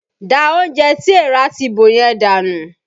Da oúnjẹ tí èèrà ti bò yẹn dànù!